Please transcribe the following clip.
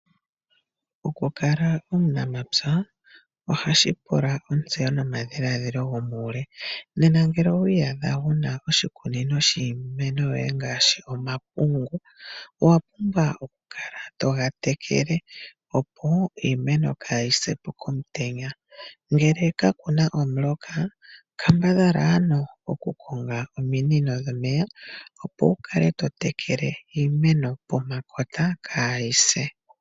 Oku kala omunampya ohashi pula ontsewo nomadhiladhilo gomuule nena ngele owiiyadha wuna oshikunino shiimeno yoye ngaashi omapungu. Owa pumbwa oku kala toga tekele opo iimeno kaayisepo komutenya, ngele kapuna omuloka kambadhala ano oku konga ominino dhomeya opo wukale totekele iimeno pomakota kaayise.